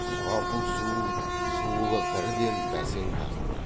сұрапыл суыл шуылы бірден бәсең тартты